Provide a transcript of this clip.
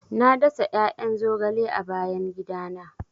Na dasa 'ya'yan zogale a bayan gidana.